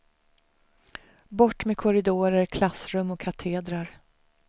Bort med korridorer, klassrum och katedrar.